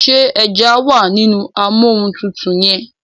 ṣe eja wá nínú Amóhuntutù yén?